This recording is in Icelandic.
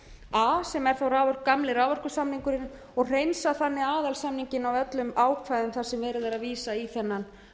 a sem er þó gamli raforkusamningurinn og hreinsa þannig aðalsamninginn af öllum ákvæðum þar sem er verið að vísa í þennan